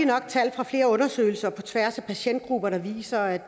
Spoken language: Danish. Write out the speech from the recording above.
nok tal fra flere undersøgelser på tværs af patientgrupper der viser at